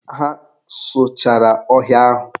Ha sụchara ọhịa ahụ.